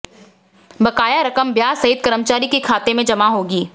बकाया रकम ब्याज सहित कर्मचारी के खाते में जमा होगी